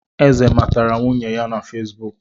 Eze matara nwunye ya na Fesibuk